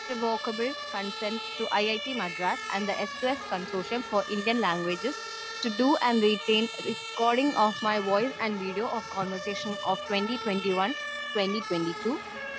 speaker 2 ഐവോകേബിൾ content to it Madras and the express conclusion for Indian languages to do and written calling of my voice and videos of conversation of 2021 and 2022